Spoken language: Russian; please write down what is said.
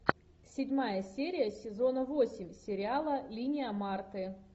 седьмая серия сезона восемь сериала линия марты